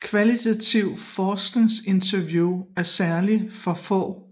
Kvalitativt forskningsinterview er særlig for for